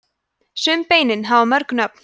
sum beinin hafa mörg nöfn